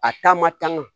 A taa ma tanga